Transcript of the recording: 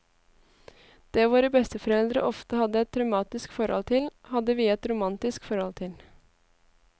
Det våre besteforeldre ofte hadde et traumatisk forhold til, hadde vi et romantisk forhold til.